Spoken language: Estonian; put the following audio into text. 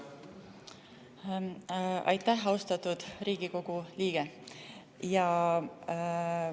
Aitäh, austatud Riigikogu liige!